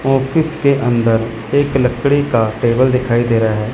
Office के अंदर एक लकड़ी का टेबल दिखाई दे रहा है।